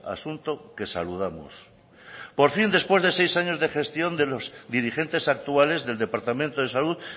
asunto que saludamos por fin después de seis años de gestión de los dirigentes actuales del departamento de salud